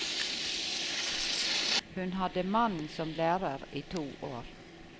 Hun hadde mannen som lærer i to år.